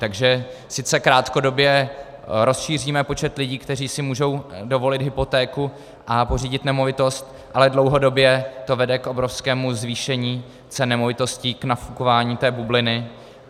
Takže sice krátkodobě rozšíříme počet lidí, kteří si můžou dovolit hypotéku a pořídit nemovitost, ale dlouhodobě to vede k obrovskému zvýšení cen nemovitostí, k nafukování té bubliny.